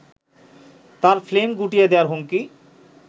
তার ফ্লিম গুটিয়ে দেয়ার হুমকি